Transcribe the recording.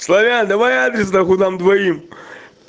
славян давай адрес на хуй нам двоим